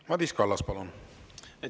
Madis Kallas, palun!